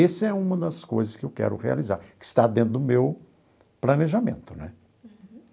Esse é uma das coisas que eu quero realizar, que está dentro do meu planejamento né.